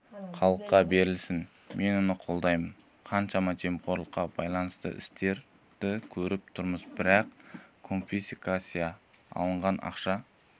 халыққа берілсін мен оны қолдаймын қаншама жемқорлыққа байланысты істерді көріп тұрмыз бірақ конфискация алынған ақша